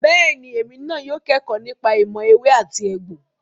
Bẹ́ẹ̀ni, èmi náà yóò kẹ́kọ̀ọ́ nípa ìmọ̀ ewé àti egbò.